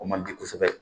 O man di kosɛbɛ